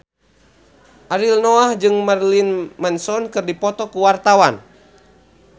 Ariel Noah jeung Marilyn Manson keur dipoto ku wartawan